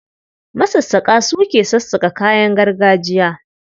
Masassaƙa su ke sassaƙa kayan gargajiya.